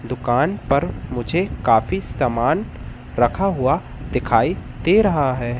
दुकान पर मुझे काफी सामान रखा हुआ दिखाई दे रहा है।